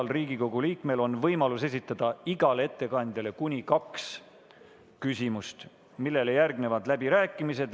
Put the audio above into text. Igal Riigikogu liikmel on võimalus esitada igale ettekandjale kuni kaks küsimust, millele järgnevad läbirääkimised.